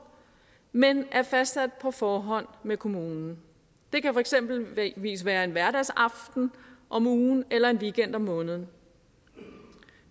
men er fastsat på forhånd med kommunen det kan eksempelvis være en hverdagsaften om ugen eller en weekend om måneden